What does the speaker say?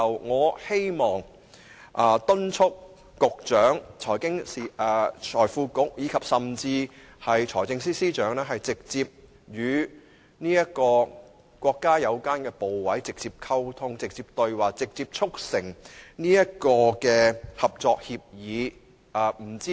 我促請局長甚至是財政司司長與國家有關部委直接溝通，直接對話，直接促成合作協議。